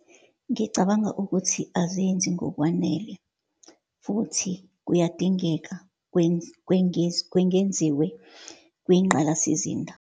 Ngicabanga ukuthi azenzi ngokwanele, futhi kuyadingeka kwengenziwe kwingqalasizinda.